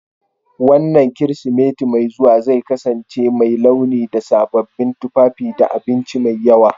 Wannan Kirsimeti mai zuwa zai kasance mai launi da sababbin tufafi da abinci mai yawa